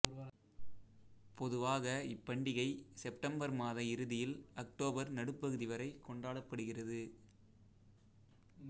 பொதுவாக இப்பண்டிகை செப்டம்பர் மாத இறுதியில் அக்டோபர் நடுப்பகுதி வரை கொண்டாடப்படுகிறது